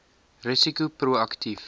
risiko pro aktief